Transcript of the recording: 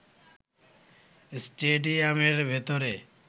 স্টেডিয়ামের ভেতরে